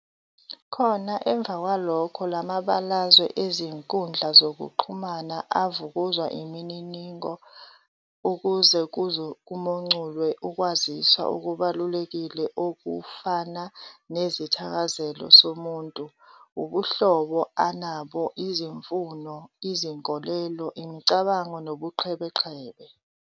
Khona emva kwalokho, la mabalazwe ezinkundla zokuxhumana avukuzwa imininingo ukuze kumonculwe ukwaziswa okubalulekile okufana nezithakazelo somuntu, ubuhlobo anabo, izimfuno, izinkolelo, imicabango nobuqhebeqhebe.